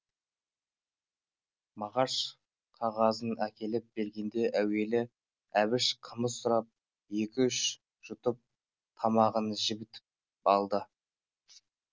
мағаш қағазын әкеліп бергенде әуелі әбіш қымыз сұрап екі үш жұтып тамағын жібітіп алды